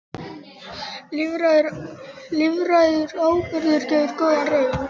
Lífrænn áburður gefur góða raun